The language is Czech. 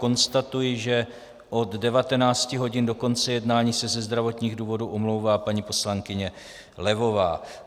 Konstatuji, že od 19 hodin do konce jednání se ze zdravotních důvodů omlouvá paní poslankyně Levová.